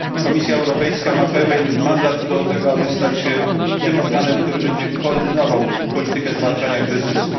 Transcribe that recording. Komisja Europejska ma pełen mandat do tego, aby stać się tym organem, który będzie koordynował politykę zwalczania kryzysu.